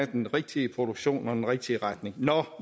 den rigtige produktion og den rigtige retning nå